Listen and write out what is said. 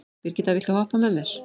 Brigitta, viltu hoppa með mér?